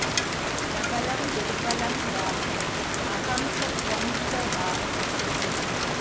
प्रबलं दुर्बलं वापि अहं च त्वं च वा क्वचित्